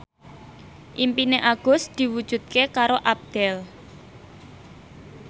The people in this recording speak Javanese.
impine Agus diwujudke karo Abdel